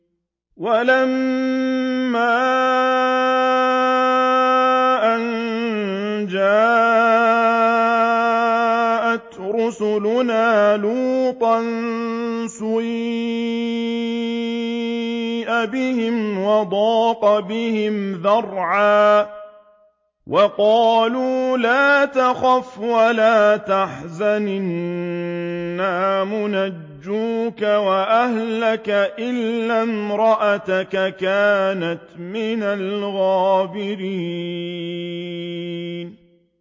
وَلَمَّا أَن جَاءَتْ رُسُلُنَا لُوطًا سِيءَ بِهِمْ وَضَاقَ بِهِمْ ذَرْعًا وَقَالُوا لَا تَخَفْ وَلَا تَحْزَنْ ۖ إِنَّا مُنَجُّوكَ وَأَهْلَكَ إِلَّا امْرَأَتَكَ كَانَتْ مِنَ الْغَابِرِينَ